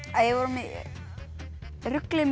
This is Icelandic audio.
við vorum í rugli með